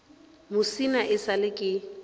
musina e sa le ke